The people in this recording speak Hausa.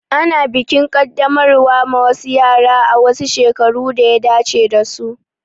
Ana bikin Kaddamarwa ma wasu yara a wasu shekaru daya dace dasu